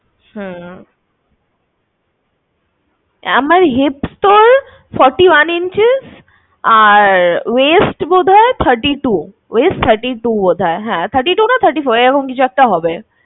হুম আমার hips তো forty one inches আর waist বোধহয় thirty two waist, thirty two নয় thirty four এরকম কিছু একটা হবে